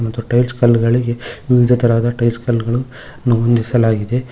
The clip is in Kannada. ಮತ್ತು ಟೈಲ್ಸ್ ಕಲ್ಲುಗಳಿಗೆ ವಿವಿಧ ತರಹದ ಟೈಲ್ಸ್ ಕಲ್ಲುಗಳು ಹೊಂದಿಸಲಾಗಿದೆ.